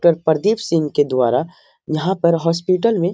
doctor Pradeep Singh के द्वारा यहाँ पर हॉस्पिटल में --